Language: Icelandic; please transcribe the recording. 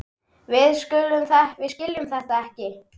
Við skiljum þetta ekki.